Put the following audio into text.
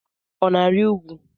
Ọ na-arị úgwú?